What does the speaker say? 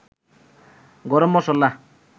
গরম মসল্লা